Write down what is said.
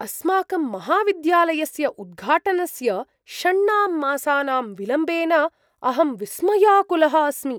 अस्माकं महाविद्यालयस्य उद्घाटनस्य षण्णां मासानां विलम्बेन अहं विस्मयाकुलः अस्मि।